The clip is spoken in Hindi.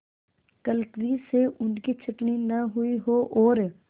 क्लर्की से उनकी छँटनी न हुई हो और